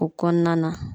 O kɔnɔna na